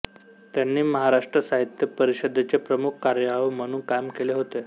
त्यांनी महाराष्ट्र साहित्य परिषदेचे प्रमुख कार्यवाह म्हणून काम केले होते